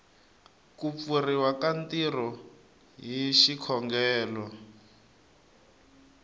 kupfuriwa ka ntirho hi xikongelo